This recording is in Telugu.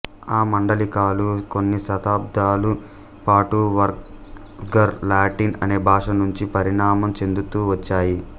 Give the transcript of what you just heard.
ఈ మాండలికాలు కొన్ని శతాబ్దాల పాటు వల్గర్ లాటిన్ అనే భాష నుంచి పరిణామం చెందుతూ వచ్చాయి